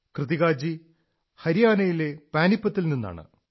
കൃത്തികാജി ഹരിയാണയിലെ പാനിപത്തിൽ നിന്നാണ്